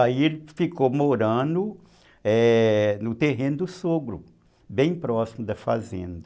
Aí ele ficou morando no terreno do sogro, bem próximo da fazenda.